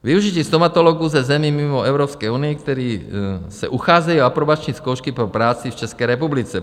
Využití stomatologů ze zemí mimo Evropskou unii, kteří se ucházejí o aprobační zkoušky pro práci v České republice.